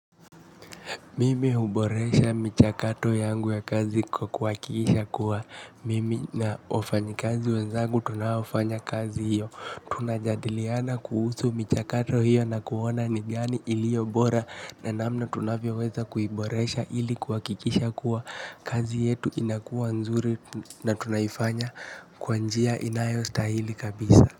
Mimi huboresha michakato yangu ya kazi kuhakikisha kuwa mimi na wafanyakazi wenzangu tunaofanya kazi hiyo. Tunajadiliana kuhusu michakato hiyo na kuona ni gani iliyobora na namna tunavyoweza kuiboresha ili kuhakikisha kuwa kazi yetu inakuwa nzuri na tunaifanya kwa njia inayostahili kabisa.